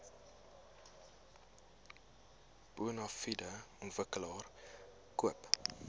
bonafide ontwikkelaar koop